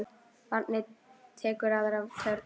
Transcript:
Barnið tekur aðra törn.